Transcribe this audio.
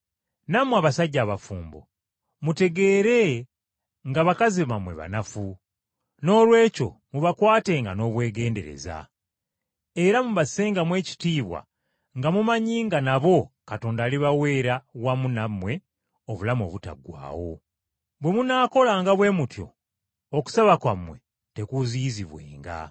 Nammwe abasajja abafumbo, mutegeere nga bakazi bammwe banafu, noolwekyo mubakwatenga n’obwegendereza. Era mubassengamu ekitiibwa nga mumanyi nga nabo Katonda alibaweera wamu nammwe, obulamu obutaggwaawo. Bwe munaakolanga bwe mutyo okusaba kwammwe tekuziyizibwenga.